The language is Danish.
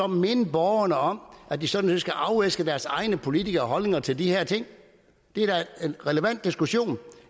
minde borgerne om at de sådan set skal afæske deres egne politikere nogle holdninger til de her ting det er da en relevant diskussion